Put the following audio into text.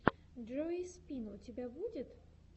джои спин у тебя будет